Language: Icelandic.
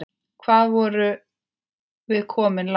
Hvað vorum við komin langt?